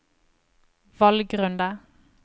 valgrunde